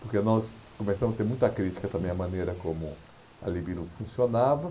porque nós começamos a ter muita crítica também à maneira como a Libilu funcionava.